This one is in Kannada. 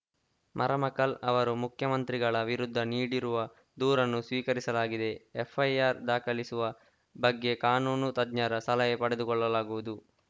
ಮರಮಕಲ್‌ ಅವರು ಮುಖ್ಯಮಂತ್ರಿಗಳ ವಿರುದ್ಧ ನೀಡಿರುವ ದೂರನ್ನು ಸ್ವೀಕರಿಸಲಾಗಿದೆ ಎಫ್‌ ಐ ಆರ್‌ ದಾಖಲಿಸುವ ಬಗ್ಗೆ ಕಾನೂನು ತಜ್ಞರ ಸಲಹೆ ಪಡೆದುಕೊಳ್ಳಲಾಗುವುದು